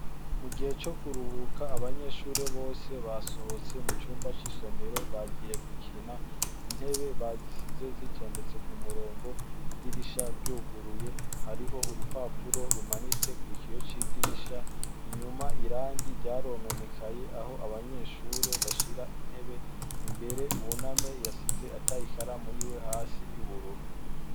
Mu gihe co kuruhuka abanyeshure bose basohotse mu cumba c'isomero bagiye gukina intebe bazisize zitondetse ku murongo idirisha ryuguruye hariho urupapuro rumanitse ku ikiyo c'idirisha inyuma irangi ryarononekaye aho abanyeshure bashira intebe imbere buname yasize atayikaramu yiwe hasi y'ubururu.